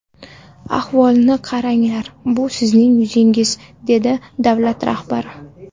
Ahvolni qaranglar, bu sizning yuzingiz”, dedi davlat rahbari.